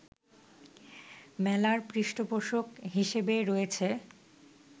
মেলার পৃষ্ঠপোষক হিসেবে রয়েছে